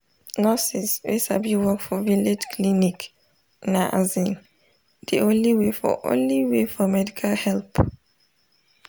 nurses wey sabi work for village clinic na asin de only way for only way for medical help.